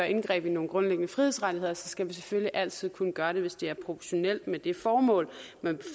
indgreb i nogle grundlæggende frihedsrettigheder skal vi selvfølgelig altid kunne gøre det hvis det er proportionalt med det formål man